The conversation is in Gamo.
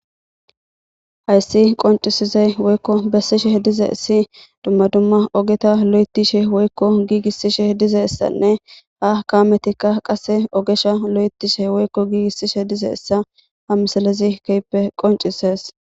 Hayssi qonccisizay woykko besishe dizzaysi dumma dumma ogeta loythishe woykko gigisishe dizzayssa ha kameti woyko ogesha gigisishe dizayssa ha misiley qo.cisees